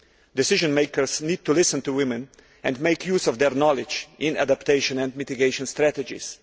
Decision makers need to listen to women and make use of their knowledge in adaptation and mitigation strategies.